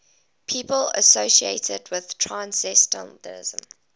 people associated with transcendentalism